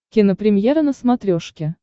кинопремьера на смотрешке